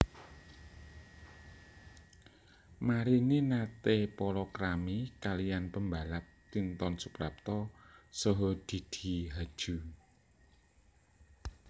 Marini naté palakrami kaliyan pembalap Tinton Suprapto saha Didi Haju